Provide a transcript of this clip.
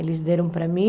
Eles deram para mim.